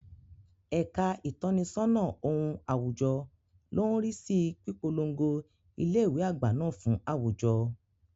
Ẹ̀ka ìtọ́nisọ́nà ohun àwùjọ ló ń rí sí pípolongo ilé ìwé àgbà náà fún àwùjọ.